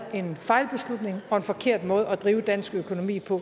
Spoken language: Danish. en fejlbeslutning og en forkert måde at drive dansk økonomi på